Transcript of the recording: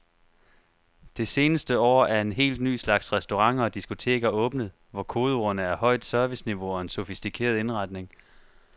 Det seneste år er en helt ny slags restauranter og diskoteker åbnet, hvor kodeordene er højt serviceniveau og en sofistikeret indretning.